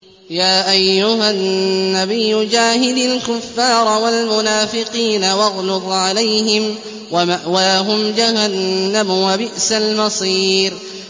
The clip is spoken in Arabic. يَا أَيُّهَا النَّبِيُّ جَاهِدِ الْكُفَّارَ وَالْمُنَافِقِينَ وَاغْلُظْ عَلَيْهِمْ ۚ وَمَأْوَاهُمْ جَهَنَّمُ ۖ وَبِئْسَ الْمَصِيرُ